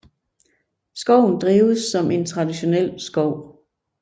Skoven drives som en traditionel skov